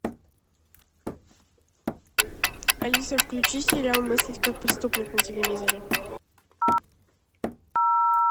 алиса включи сериал мыслить как преступник на телевизоре